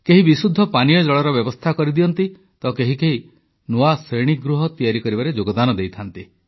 କେହି ବିଶୁଦ୍ଧ ପାନୀୟ ଜଳର ବ୍ୟବସ୍ଥା କରଦିଅନ୍ତି ତ କେହି କେହି ନୂଆ ଶ୍ରେଣୀଗୃହ ତିଆରି କରିବାରେ ଯୋଗଦାନ ଦେଇଥାନ୍ତି